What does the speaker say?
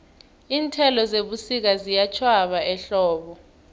iinthelo zebusika ziyatjhwaba ehlobo